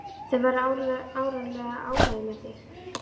Þau verða áreiðanlega ánægð með þig.